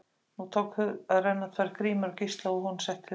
Nú tóku að renna tvær grímur á Gísla og að honum setti óhug.